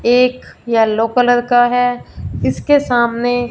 एक yellow colour का है इसके सामने--